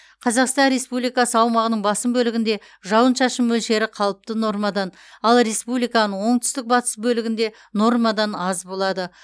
қазақстан республикасы аумағының басым бөлігінде жауын шашын мөлшері қалыпты нормадан ал республиканың оңтүстік батыс бөлігінде нормадан аз болады